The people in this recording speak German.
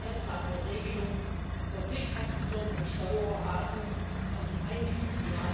Wir haben erstmals eine Regelung für Briefkastenfirmen und Steueroasen eingefügt.